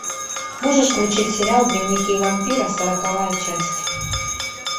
можешь включить сериал дневники вампира сороковая часть